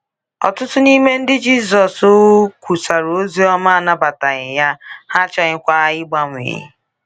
Ọtụtụ n’ime ndị Jizọs kwusaara ozi ọma anabataghị ya, ha achọghịkwa ịgbanwe.